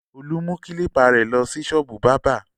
Olú mú kílípà rẹ̀ lọ sí ṣọ́ọ́bù bábà!